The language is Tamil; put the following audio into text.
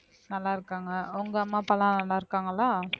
நல்லா இருக்காங்க உங்க அம்மா அப்பா எல்லாம் நல்லாருக்காங்களா